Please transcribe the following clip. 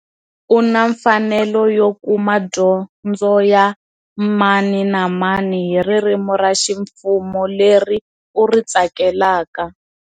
U na mfanelo yo kuma dyondzoya mani na mani hi ririmi ra ximfumo leri u ri tsakelaka.